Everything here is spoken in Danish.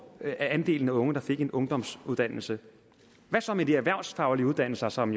faldt andelen af unge der fik en ungdomsuddannelse hvad så med de erhvervsfaglige uddannelser som